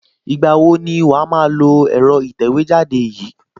Ìgbà wo ni wàá máa lo ẹ̀rọ ìtẹ̀wẹ́jáde yìí?